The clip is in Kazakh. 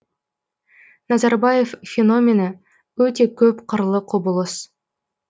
назарбаев феномені өте көп қырлы құбылыс